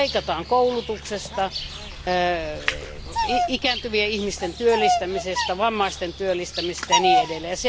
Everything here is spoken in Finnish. Leikataan koulutuksesta, ikääntyvien ihmisten työllistämisestä, vammaisten työllistämisestä ja niin edelleen.